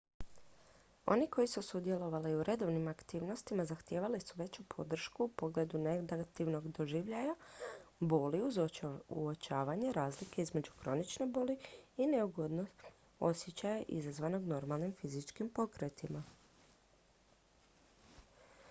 oni koji su sudjelovali u redovnim aktivnostima zahtijevali su veću podršku u pogledu negativnog doživljaja boli uz uočavanje razlike između kronične boli i neugodnog osjećaja izazvanog normalnim fizičkim pokretima